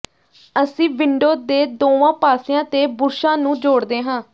ਅਸੀਂ ਵਿੰਡੋ ਦੇ ਦੋਵਾਂ ਪਾਸਿਆਂ ਤੇ ਬੁਰਸ਼ਾਂ ਨੂੰ ਜੋੜਦੇ ਹਾਂ